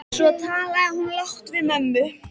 Svo talaði hún lágt við mömmu.